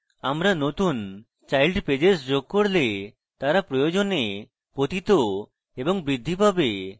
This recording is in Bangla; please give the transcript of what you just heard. আমরা নতুন child pages যোগ করলে তারা প্রয়োজনে পতিত এবং বৃদ্ধি পাবে